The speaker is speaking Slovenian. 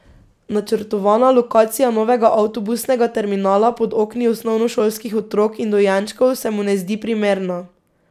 Načrtovana lokacija novega avtobusnega terminala pod okni osnovnošolskih otrok in dojenčkov se mu ne zdi primerna.